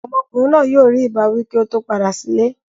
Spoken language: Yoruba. Ọmọkùnrin náà yóò rí ìbáwí kí ó tó padà sílé.